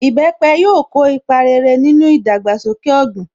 Ìbẹpẹ̀ yóò ko ipa rere nínú ìdàgbàsókè ọ̀gbìn.